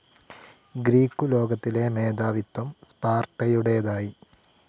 Greek ലോകത്തിലെ മേധാവിത്ത്വം സ്പാർട്ടയുടേതായി.